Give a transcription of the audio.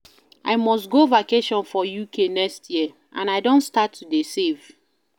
I must go vacation for UK next year and I don start to dey save